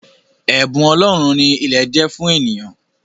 Ẹ̀bùn ọlọ́run ni ilẹ̀ jẹ́ fún eniyan